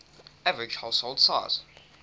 average household size